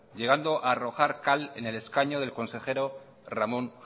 llegando a arrojar cal en el escaño del consejero ramón